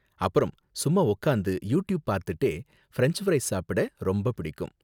அப்பறம், சும்மா உக்காந்து யூ ட்யூப் பார்த்துக்கிட்டே பிரென்ச் ஃப்ரைஸ் சாப்பிட ரொம்ப பிடிக்கும்.